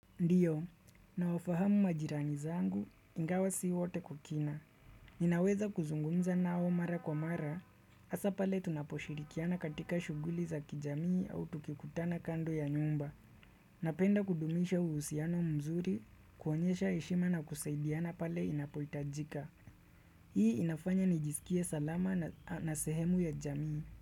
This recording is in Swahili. Ndiyo, nawafahamu majirani zangu, ingawa si wote kukina. Ninaweza kuzungumza nao mara kwa mara, asa pale tunaposhirikiana katika shuguli za kijamii au tukikutana kando ya nyumba. Napenda kudumisha uhusiano mzuri, kuonyesha heshima na kusaidiana pale inapoitajika. Hii inafanya nijisikie salama na sehemu ya jamii.